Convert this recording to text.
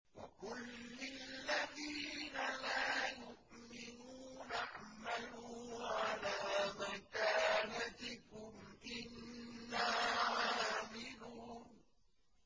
وَقُل لِّلَّذِينَ لَا يُؤْمِنُونَ اعْمَلُوا عَلَىٰ مَكَانَتِكُمْ إِنَّا عَامِلُونَ